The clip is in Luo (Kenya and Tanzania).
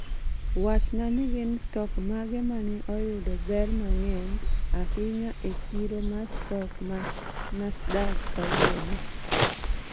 Wachna ni gin stok mage ma ne oyudo ber mang�eny ahinya e chiro ma stok ma nasdaq kawuono